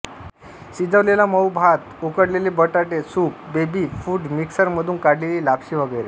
शिजवलेला मऊ भात उकडलेले बटाटे सूप बेबी फूड मिक्सरमधून काढलेली लापशी वगैरे